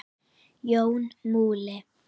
Jón Múli